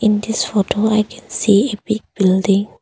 In this photo I can see a big building.